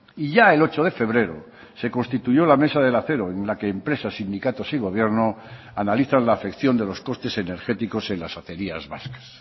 y ya el ocho de febrero se constituyó la mesa del acero en la que empresas sindicatos y gobierno analizan la afección de los costes energéticos en las acerías vascas